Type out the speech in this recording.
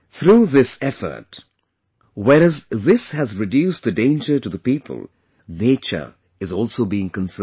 Through this effort, whereas this has reduced the danger to the people; nature is also being conserved